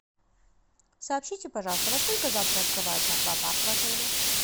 сообщите пожалуйста во сколько завтра открывается аквапарк в отеле